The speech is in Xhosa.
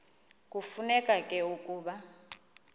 kufuneka ke ukuba